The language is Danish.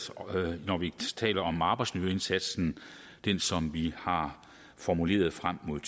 når vi taler om arbejdsmiljøindsatsen den som vi har formuleret frem mod